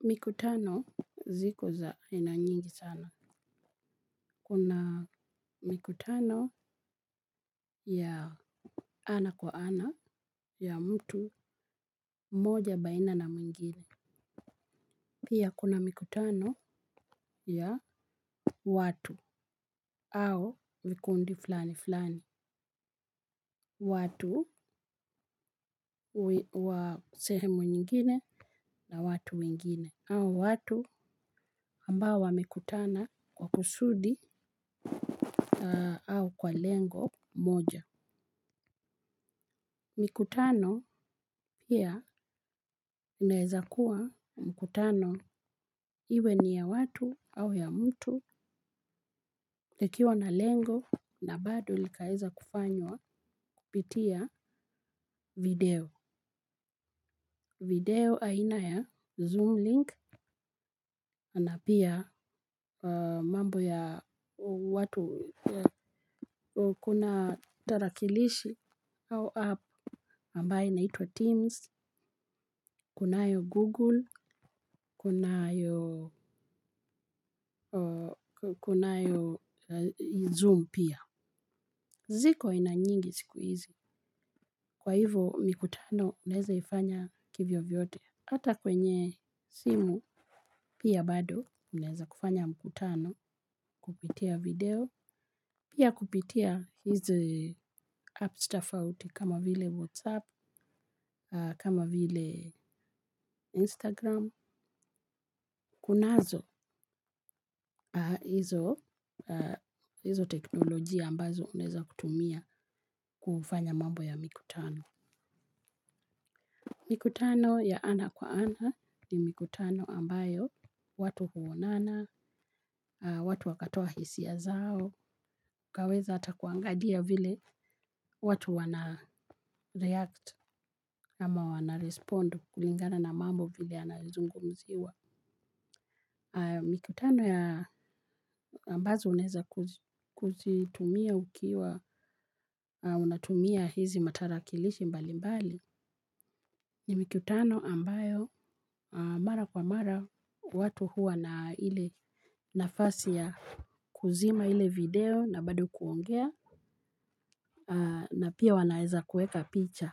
Mikutano ziko za aina nyingi sana. Kuna mikutano ya ana kwa ana ya mtu moja baina na mwingine. Pia kuna mikutano ya watu au vikundi fulani fulani. Watu wa sehemu nyingine na watu wengine. Au watu ambao wamekutana kwa kusudi au kwa lengo moja. Mikutano pia unaeza kuwa mkutano iwe ni ya watu au ya mtu ikiwa na lengo na bado likaweza kufanywa kupitia video. Video aina ya Zoom link na pia mambo ya watu kuna tarakilishi au app ambaye inaitwa Teams, kunayo Google, kuna kunayo Zoom pia. Ziko aina nyingi siku hizi. Kwa hivo mikutano, unaweza ifanya kivyo vyote. Hata kwenye simu pia bado, unaeza kufanya mkutano kupitia video. Pia kupitia hizi apps tofauti kama vile WhatsApp, kama vile Instagram. Kunazo ah hizo teknolojia ambazo unaweza kutumia kufanya mambo ya mikutano. Mikutano ya ana kwa ana ni mikutano ambayo watu huonana, aah watu wakatoa hisia zao. Kaweza hata kuangalia vile watu wana react ama wana respond kulingana na mambo vile anazungu mziwa. Mikutano ya ambazo unaweza kuzitumia ukiwa unatumia hizi matarakilishi mbali mbali. Mikutano ambayo mara kwa mara watu huwa na ilie nafasi ya kuzima ile video na bado kuongea. Na pia wanaweza kuweka picha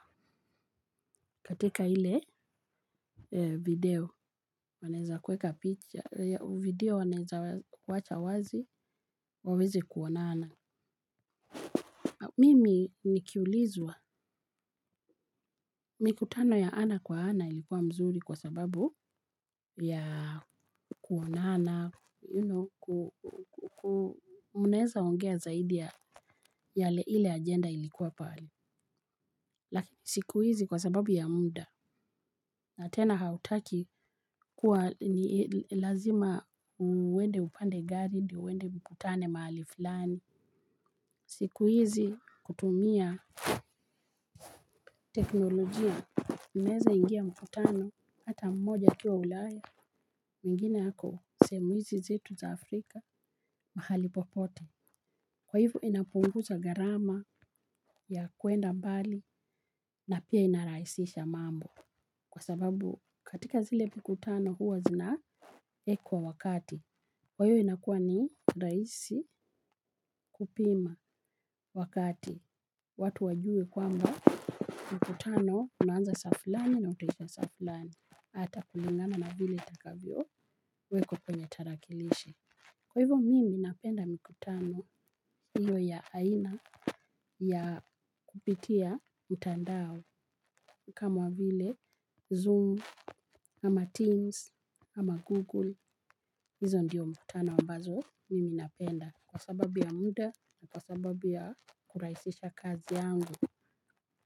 katika ile video wanaweza kuweka picha. Video wanaweza kuwacha wazi waweze kuonana. Mimi nikiulizwa, mikutano ya ana kwa ana ilikuwa mzuri kwa sababu ya kuonana, you know mnaweza ongea zaidi ya ile agenda ilikuwa pale. Siku hizi kwa sababu ya muda, na tena hautaki kuwa ni lazima uwnde upande gari, ndio uende mkutane mahali fulani. Siku hizi kutumia teknolojia, menaweza ingia mkutano hata mmoja akiwa ulaya, mwingine ako sehemu hizi zetu za Afrika, mahali popote. Kwa hivo inapunguza gharama ya kuenda mbali na pia inarahisisha mambo. Kwa sababu katika zile mikutano huwa zina wekwa wakati. Kwa hiyo inakuwa ni rahisi kupima wakati watu wajue kwamba mkutano unaanza saa fulani na utaisha saa fulani hata kulingana na vile utakavyo wekwa kwenye tarakilishi. Kwa hivyo mimi napenda mikutano hiyo ya aina ya kupitia mtandao kama vile Zoom, ama Teams, ama Google, hizo ndiyo mkutano ambazo mimi napenda. Kwa sababu ya muda na kwa sababu ya kurahisisha kazi yangu.